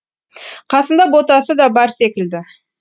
қасында ботасы да бар секілді